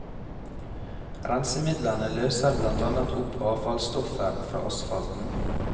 Rensemidlene løser blant annet opp avfallsstoffer fra asfalten.